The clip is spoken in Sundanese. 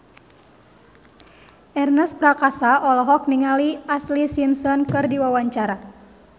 Ernest Prakasa olohok ningali Ashlee Simpson keur diwawancara